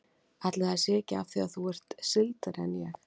Ætli það sé ekki af því að þú ert sigldari en ég.